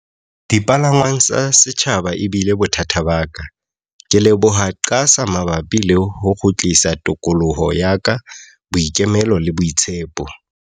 "Dipalangwang tsa setjhaba ebile bothata ba ka. "Ke leboha QASA mabapi le ho kgutlisa tokoloho ya ka, boikemelo le boitshepo."